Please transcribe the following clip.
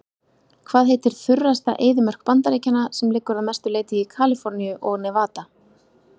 Hvað heitir þurrasta eyðimörk Bandaríkjanna sem liggur að mestu leyti í Kaliforníu og Nevada?